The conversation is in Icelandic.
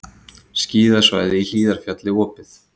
Skíðasvæðið í Hlíðarfjalli opið